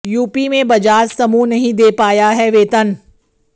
UP में बजाज समूह नहीं दे पाया है वेतन